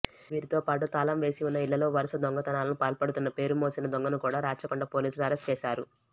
వీరితో పాటు తాళం వేసివున్న ఇళ్లలో వరుస దొంగతనాలకు పాల్పడుతున్న పేరుమోసిన దొంగను కూడా రాచకొండ పోలీసులు అరెస్ట్ చేశారు